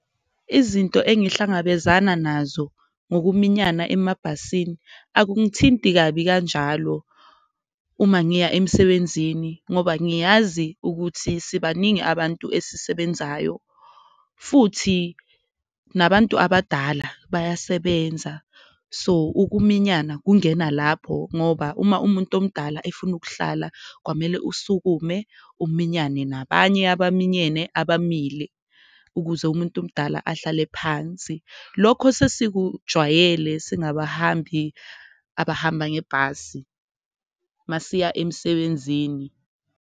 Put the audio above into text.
Izinto engihlangabezana nazo ngokuminyana emabhasini akungithinti kabi kanjalo uma ngiya emsebenzini, ngoba ngiyazi ukuthi sibaningi abantu esisebenzayo futhi nabantu abadala bayasebenza. So, ukuminyana kungena lapho ngoba uma umuntu omdala efuna ukuhlala kwamele usukume uminyane nabanye abaminyene abamile, ukuze umuntu omdala ahlale phansi. Lokho sesikujwayele singabahambi abahamba ngebhasi uma siya emsebenzini.